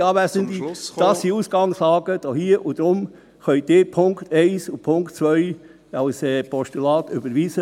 Werte Anwesende, das hier ist die Ausgangslage, und deshalb können Sie die Punkte 1 und 2 problemlos als Postulat überweisen.